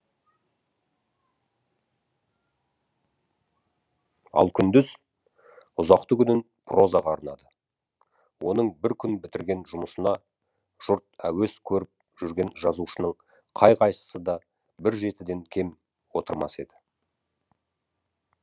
ал күндіз ұзақты күнін прозаға арнады оның бір күн бітірген жұмысына жұрт әуес көріп жүрген жазушының қай қайсысы да бір жетіден кем отырмас еді